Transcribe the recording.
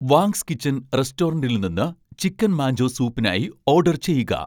wants kitchen റെസ്റ്റോറന്റിൽ നിന്ന് chicken manchow സൂപ്പിനായി ഓഡർ ചെയ്യുക